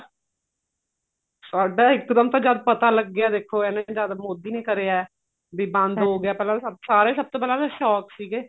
ਸਾਡਾ ਇੱਕ ਦਮ ਤਾਂ ਜਦ ਪਤਾ ਲੱਗਿਆ ਦੇਖੋ ਐਵੇ ਜਦ ਮੋਦੀ ਨੇ ਕਰਿਆ ਬੀ ਬੰਦ ਹੋ ਗਿਆ ਪਹਿਲਾਂ ਤਾਂ ਸਭ ਸਾਰੇ ਸਭ ਤੋਂ ਪਹਿਲਾਂ ਤਾਂ shock ਸੀਗੇ